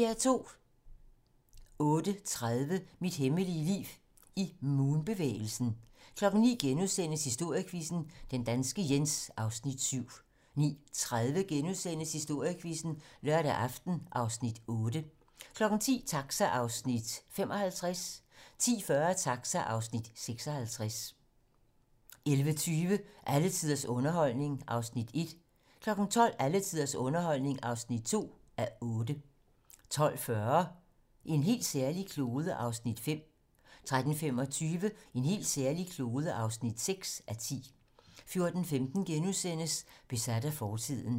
08:30: Mit hemmelige liv i Moon-bevægelsen 09:00: Historiequizzen: Den danske Jens (Afs. 7)* 09:30: Historiequizzen: Lørdag aften (Afs. 8)* 10:00: Taxa (Afs. 55) 10:40: Taxa (Afs. 56) 11:20: Alle tiders underholdning (1:8) 12:00: Alle tiders underholdning (2:8) 12:40: En helt særlig klode (5:10) 13:25: En helt særlig klode (6:10) 14:15: Besat af fortiden *